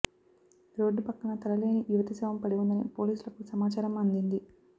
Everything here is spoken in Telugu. రోడ్డు పక్కన తలలేని యువతి శవం పడివుందని పోలీసులకు సమాచారం అందింది